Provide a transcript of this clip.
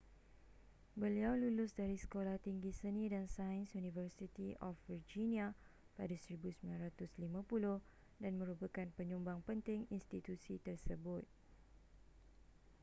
beliau lulus dari sekolah tinggi seni & sains university of virginia pada 1950 dan merupakan penyumbang penting institusi tersebut